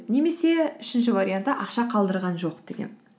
немесе үшінші вариантта ақша қалдырған жоқ деген